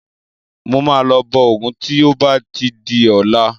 Mo máa lọ bọ Ògún tí ó bá ti di ọ̀la.